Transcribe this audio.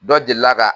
Dɔ delila ka